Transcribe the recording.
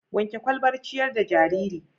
Wanke ƙwalbar ciƴar da jariri.